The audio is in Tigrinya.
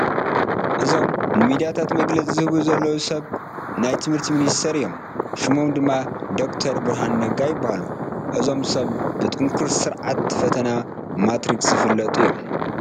እዞም ንሚድያታት መግለፂ ዝህቡ ዘለዉ ሰብ ናይ ትምህርቲ ሚኒስትር እዮም፡፡ ሽሞም ድማ ዶክተር ብርሃኑ ነጋ ይበሃሉ፡፡ እዞም ሰብ ብጥንኩር ስርዓት ፈተና ማትሪክ ዝፍለጡ እዮም፡፡